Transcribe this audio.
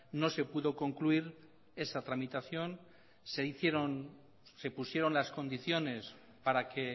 no se pudo concluir esa tramitación se hicieron y se pusieron las condiciones para que